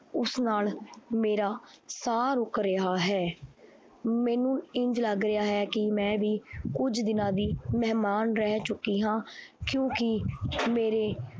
ਉਸ ਨਾਲ ਮੇਰਾ ਸਾਹ ਰੁੱਕ ਰਿਹਾ ਹੈ, ਮੈਨੂੰ ਇੰਞ ਲੱਗ ਰਿਹਾ ਹੈ ਕਿ ਮੈਂ ਵੀ ਕੁੱਝ ਦਿਨਾਂ ਦੀ ਮਹਿਮਾਨ ਰਹਿ ਚੁੱਕੀ ਹਾਂ ਕਿਉਂਕਿ ਮੇਰੇ